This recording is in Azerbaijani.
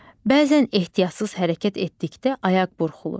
Bəzən ehtiyatsız hərəkət etdikdə ayaq burxulur.